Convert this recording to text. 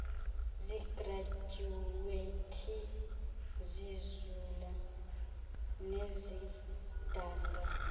zigradyuwethi zizula nezidanga